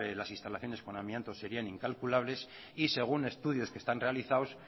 las instalaciones con amianto serían incalculables y según estudios que están realizados